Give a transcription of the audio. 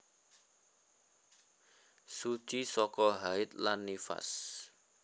Suci saka haid lan nifas